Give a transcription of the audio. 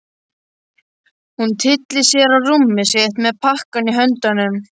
Hún tyllir sér á rúmið sitt með pakkann í höndunum.